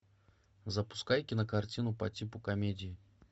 запускай кинокартину по типу комедии